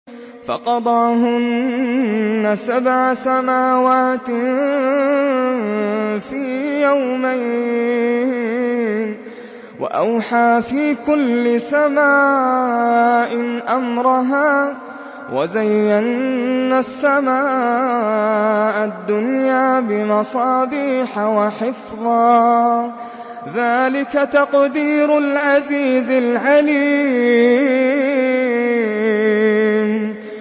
فَقَضَاهُنَّ سَبْعَ سَمَاوَاتٍ فِي يَوْمَيْنِ وَأَوْحَىٰ فِي كُلِّ سَمَاءٍ أَمْرَهَا ۚ وَزَيَّنَّا السَّمَاءَ الدُّنْيَا بِمَصَابِيحَ وَحِفْظًا ۚ ذَٰلِكَ تَقْدِيرُ الْعَزِيزِ الْعَلِيمِ